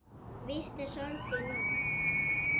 Víst er sorg þín nóg.